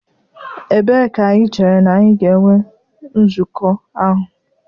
Ebee ka anyị chere na anyị ga-enwe nzukọ ahụ?